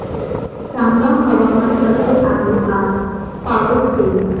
सांगा हवामान कसे आहे आज पावस चे